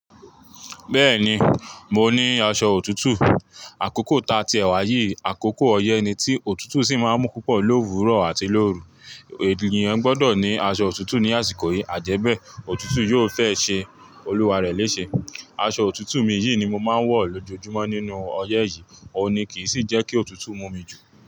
Bẹ́ẹ̀ni, mo ní aṣọ òtútù. Àkókò ta tíeh wà yìí, àkókò ọyẹ́ ni tí òtútù sì máa ń mú púpọ̀ ló òwúrọ̀ àti lóru. Ènìyàn gbọdọ̀ ní aṣọ òtútù ní àsìkò yìí. Àjẹ́bẹ́ òtútù yóò fẹ́ ṣe olúwa rẹ léṣe. Aṣọ òtútù mi yìí ni mo máa ń wọ̀ lójoojúmọ́ nínú ọyẹ́ yìí, òun ni kì í sì jẹ́ kí òtútù mú mi jù.